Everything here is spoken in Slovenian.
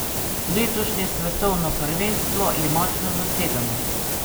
Letošnje svetovno prvenstvo je močno zasedeno.